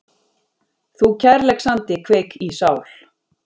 Þú kærleiksandi kveik í sál